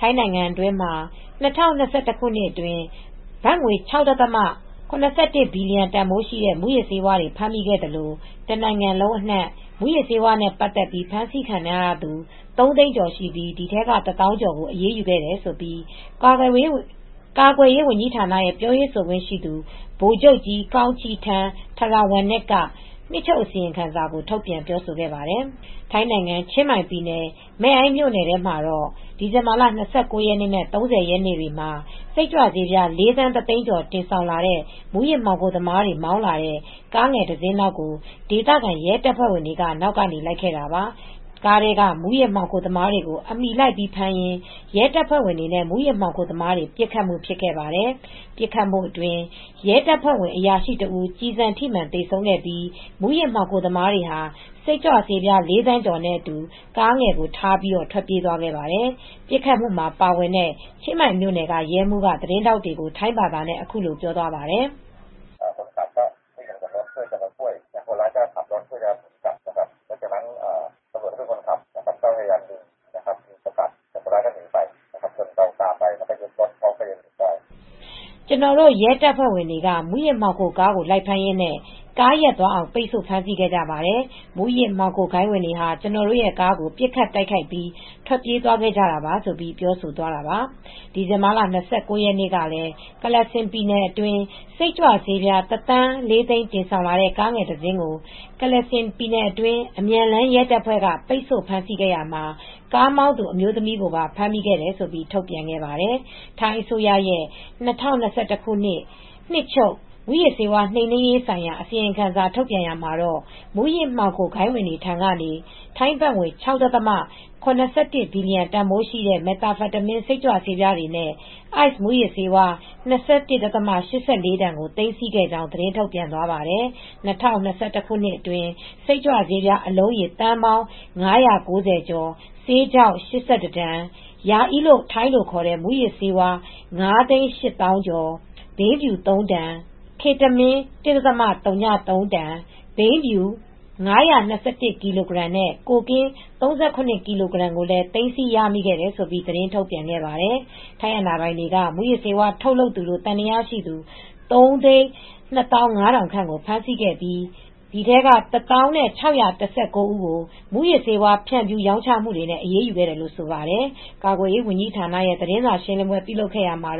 ထိုင်းနိုင်ငံမှာ ၂၀၂၁ ခုနှစ်အတွင်း ဘတ်ငွေ ၆ ဒသမ ၇၁ ဘီလီယံ တန်ဖိုးရှိတဲ့ မူးယစ်ဆေးဝါးတွေ ဖမ်းမိခဲ့သလို တနိုင်ငံလုံးအနှံ့ မူးယစ်ဆေးဝါးနဲ့ ဆက်စပ်ပြီး လူပေါင်း ၃ သိန်းကျော်ကို ဖမ်းဆီးခဲ့ပြီးတဲ့နောက် အဲဒီထဲက တသောင်းကျော်ကို အရေးယူခဲ့တယ်လို့ ကာကွယ်ရေးဝန်ကြီးဌာနရဲ့ ပြောရေးဆိုခွင့်ရှိသူ ဗိုလ်ချုပ်ကြီး Kongcheep Tantrawanich က နှစ်ချုပ်အစီရင်ခံစာ ထုတ်ပြန် ပြောဆိုခဲ့ပါတယ်။ ချင်းမိုင်ပြည်နယ်၊ မဲ့အိုင်းမြို့နယ်ထဲမှာတော့ ဒီဇင်ဘာလ ၂၉ ရက်နဲ့ ၃၀ ရက်တွေမှာ စိတ်ကြွဆေးပြား ၄ သန်း ၁ သိန်းကျော် တင်ဆောင်ပြီး မူးယစ်မှောင်ခိုသမားတွေ မောင်းလာတဲ့ ကားငယ်တစင်းနောက်ကို ဒေသခံရဲတပ်ဖွဲ့ဝင်တွေက နောက်ကနေ လိုက်ခဲ့တာပါ။ ကားထဲက မူးယစ်မှောင်ခိုသမားတွေကို အမီလိုက်ဖမ်းရင်း ရဲတပ်ဖွဲ့ဝင်တွေနဲ့ မူးယစ်မှောင်ခိုသမားတွေကြား ပစ်ခတ်မှု ဖြစ်ခဲ့ပါတယ်။ အဲဒီပစ်ခတ်မှုအတွင်း ထိုင်းရဲတပ်ဖွဲ့ အရာရှိတဦး ကျည်ဆန်ထိမှန် သေဆုံးခဲ့ပြီး မူးယစ်မှောင်ခိုသမားတွေက စိတ်ကြွဆေးပြား ၄ သန်းကျော်နဲ့အတူ ကားကိုထားပြီး ထွက်ပြေးသွားခဲ့တယ်လို့ ချင်းမိုင်မြို့နယ် ရဲမှူးက သတင်းထောက်တွေကို ထိုင်းဘာသာနဲ့ အခုလိုပြောပါတယ်။ "ကျနော်တို့ ရဲတပ်ဖွဲ့ဝင်တွေက မူးယစ်မှောင်ခိုကားကို လိုက်ဖမ်းရင်းနဲ့ ကားရပ်သွားအောင် ပိတ်ဆို့ ဖမ်းဆီးခဲ့ကြပါတယ်။ မူးယစ်ဂိုဏ်းဝင်တွေဟာ ကျနော်တို့ရဲ့ကားကို ပစ်ခတ်တိုက်ခိုက်ပြီး ထွက်ပြေးသွားခဲ့ကြတာပါ" လို့ ချင်းမိုင်မြို့နယ် ရဲမှူးက ပြောပါတယ်။ ဒီဇင်ဘာလ ၂၈ ရက်နေ့ကလည်း Kalasin ပြည်နယ်အတွင်း စိတ်ကြွဆေးပြား ၁ သန်း ၄ သိန်း တင်ဆောင်လာတဲ့ ကားငယ်တစင်းကို အမြန်လမ်းရဲတပ်ဖွဲ့က ပစ်ခတ်ဖမ်းဆီးခဲ့ရာမှာ ကားမောင်းသူ အမျိုးသမီးကိုပါ ဖမ်းမိခဲ့တယ်လို့ ထုတ်ပြန်ထားပါတယ်။ ထိုင်းအစိုးရရဲ့ ၂၀၂၁ ခုနှစ် နှစ်ချုပ် မူးယစ်ဆေးဝါးနှိမ်နင်းရေးဆိုင်ရာ အစီရင်ခံစာ ထုတ်ပြန်ရာမှာတော့ မူးယစ်ဂိုဏ်းဝင်တွေဆီကနေ ဘတ်ငွေ ၆ ဒသမ ၇၁ ဘီလီယံ တန်ဖိုးရှိ မက်သ်အမ်ဖက်တမင်းဆေးပြားနဲ့ Ice မူးယစ်ဆေးဝါး ၂၁ ဒသမ ၈၄ တန်ကို သိမ်းဆည်းခဲ့ကြောင်း သတင်းထုတ်ပြန်သွားပါတယ်။ ၂၀၂၁ ခုနှစ်အတွင်း စိတ်ကြွဆေးပြား အလုံးရေ သန်းပေါင်း ၅၉၀ ကျော်၊ ဆေးခြောက် ၈၁ တန်၊ ရာအီးလို့ ထိုင်းလိုခေါ်တဲ့ မူးယစ်ဆေးပြား Ecstasy Pills ၅ သိန်း ၈ သောင်းကျော်၊ ဘိန်းဖြူ ၃ တန်၊ Ketamine ၁ ဒသမ ၀၃ တန်၊ ဘိန်း ၅၂၁ ကီလိုဂရမ်နဲ့ ကိုကင်း ၃၇ ကီလိုဂရမ်ကိုလည်း သိမ်းဆည်းရမိခဲ့တယ်လို့ သတင်းထုတ်ပြန်ခဲ့ပါတယ်။ ထိုင်းအာဏာပိုင်တွေက မူးယစ်ဆေးဝါး ထုတ်လုပ်သူလို့ သံသယရှိသူ ၃၂၅,၀၀၀ ခန့်ကို ဖမ်းဆီးခဲ့ပြီး အဲဒီထဲက ၁၀,၆၁၉ ဦးကို မူးယစ်ဆေးဝါး ဖြန့်ဖြူး ရောင်းချမှုတွေနဲ့ အရေးယူခဲ့တယ်လို့ ဆိုပါတယ်။ ကာကွယ်ရေးဝန်ကြီးဌာနက သတင်းစာရှင်းလင်းပွဲ လုပ်ခဲ့ရာမှာ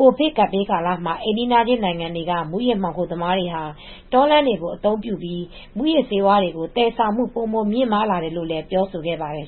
ကိုဗစ်ကပ်ဘေး ကာလအတွင်း အိမ်နီးချင်းနိုင်ငံတွေက မူးယစ်မှောင်ခိုသမားတွေဟာ တောလမ်းတွေကို အသုံးပြုပြီး မူးယစ်ဆေးဝါး သယ်ဆောင်တာတွေ ပိုပြီးများလာတယ်လို့လည်း ပြောဆိုခဲ့ပါတယ်